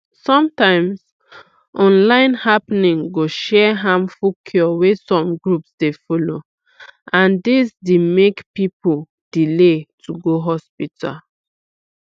sometimes online happening go share harmful cure wey some groups dey follow and dis d make people delay to go hospital